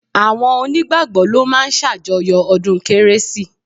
Àwọn onígbàgbọ́ ló máa ń ṣàjọyọ̀ ọdún kérésì